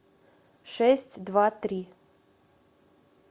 шесть два три